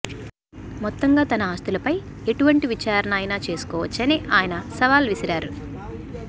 మొత్తంగా తన ఆస్తులపై ఎటువంటి విచారణ అయినా చేసుకోవచ్చని ఆయన సవాల్ విసిరారు